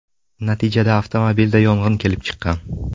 Natijada avtomobilda yong‘in kelib chiqqan.